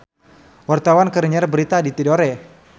Wartawan keur nyiar berita di Tidore